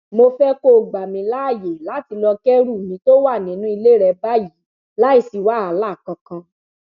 mo fẹ kó gbà mí láàyè láti lọọ kẹrù mi tó wà nínú ilé rẹ báyìí láì sí wàhálà kankan